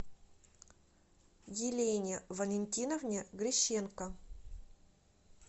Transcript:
елене валентиновне грищенко